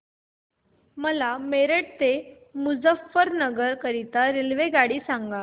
मला मेरठ ते मुजफ्फरनगर करीता रेल्वेगाडी सांगा